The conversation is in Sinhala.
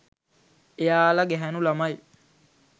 එයාල ගැහැණු ළමයි